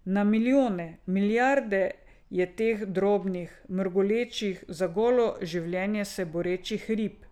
Na milijone, milijarde je teh drobnih, mrgolečih, za golo življenje se borečih rib.